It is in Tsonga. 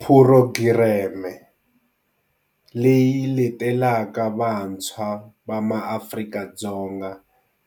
Phurogireme, leyi letelaka vantshwa va MaAfrika-Dzonga